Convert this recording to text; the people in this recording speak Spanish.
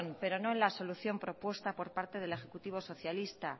pero no en la solución propuesta por parte del ejecutivo socialista